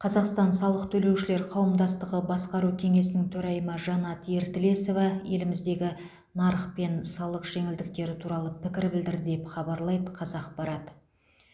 қазақстан салық төлеушілер қауымдастығы басқару кеңесінің төрайымы жанат ертілесова еліміздегі нарық пен салық жеңілдіктері туралы пікір білдірді деп хабарлайды қазақпарат